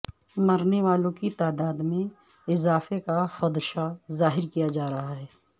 مرنے والوں کی تعداد میں اضافے کا خدشہ ظاہر کیا جا رہا ہے